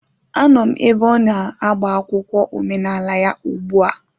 Anọ m ebe ọ na-agba akwụkwọ omenala ya ugbu a